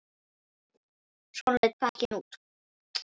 Svona leit pakkinn út.